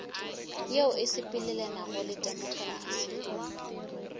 yeo e sepelelanago le temokrasi